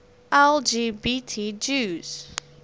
lgbt jews